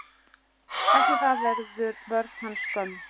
Eftir það verður vörn hans skömm.